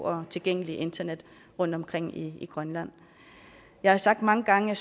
og tilgængeligt internet rundtomkring i grønland jeg har sagt mange gange at